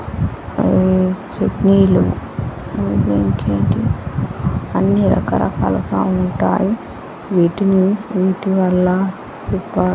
ఊ చట్నీలు ఇంకేంటెంటి అన్ని రక రకాల లుంటాయి. వీటిని వీటి వల్ల సూపర్.